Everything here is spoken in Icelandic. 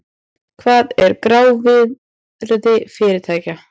Hvað er grávirði fyrirtækja?